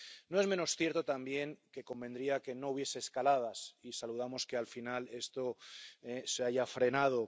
No es menos cierto, también, que convendría que no hubiese escaladas, y saludamos que, al final, esto se haya frenado.